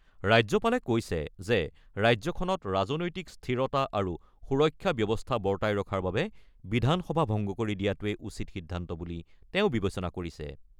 ৰাজ্যপালে কৈছে যে ৰাজ্যখনত ৰাজনৈতিক স্থিৰতা আৰু সুৰক্ষা ব্যৱস্থা বৰ্তাই ৰখাৰ বাবে বিধানসভা ভংগ কৰি দিয়াটোৱে উচিত সিদ্ধান্ত বুলি তেওঁ বিবেচনা কৰিছে।